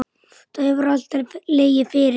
Það hefur alltaf legið fyrir.